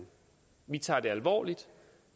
vi tager det alvorligt